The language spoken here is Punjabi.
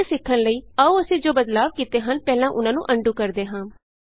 ਅੱਗੇ ਸਿੱਖਣ ਲਈ ਆਉ ਅਸੀਂ ਜੋ ਬਦਲਾਉ ਕੀਤੇ ਹਨ ਪਹਿਲਾਂ ਉਹਨਾਂ ਨੂੰ ਅਨਡੂ ਕਰਦੇ ਹਾਂ